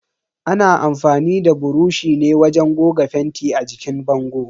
Ana amfani da buroshi ne wajen goga fenti a jikin bango.